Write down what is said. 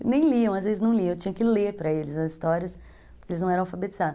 Nem liam, às vezes não liam, eu tinha que ler para eles as histórias, porque eles não eram alfabetizados.